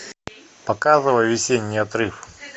показывай весенний отрыв